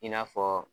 I n'a fɔ